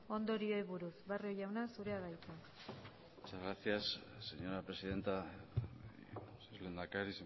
ondorioei buruz barrio jauna zurea da hitza muchas gracias señora presidenta lehendakari